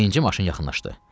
Birinci maşın yaxınlaşdı.